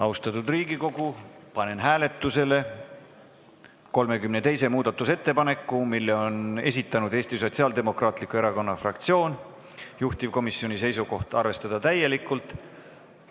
Austatud Riigikogu, panen hääletusele 32. muudatusettepaneku, mille on esitanud Eesti Sotsiaaldemokraatliku Erakonna fraktsioon, juhtivkomisjoni seisukoht: arvestada seda täielikult.